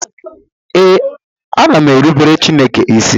Ee, ana m erubere Chineke isi